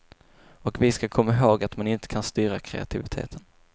Och vi ska komma ihåg att man inte kan styra kreativiteten.